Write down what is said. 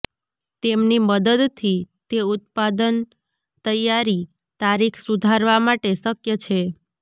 તેમની મદદથી તે ઉત્પાદન તૈયારી તારીખ સુધારવા માટે શક્ય છે